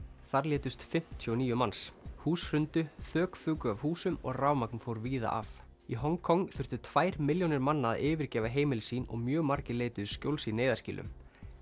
þar létust fimmtíu og níu manns hús hrundu þök fuku af húsum og rafmagn fór víða af í Hong Kong þurftu tvær milljónir manna að yfirgefa heimili sín og mjög margir leituðu skjóls í neyðarskýlum